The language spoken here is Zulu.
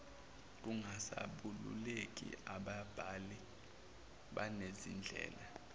kungasabalulekile ababhali banezindlela